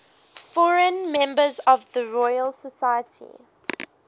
foreign members of the royal society